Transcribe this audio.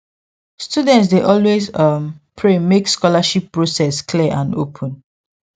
students dey always um pray make scholarship process clear and open